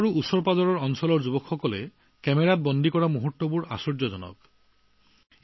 কাশী আৰু ইয়াৰ আশেপাশে থকা অঞ্চলৰ যুৱকযুৱতীসকলে তেওঁলোকৰ কেমেৰাত বন্দী কৰা মুহূৰ্তবোৰ আচৰিত ধৰণে সুন্দৰ